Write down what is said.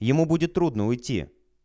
ему будет трудно уйти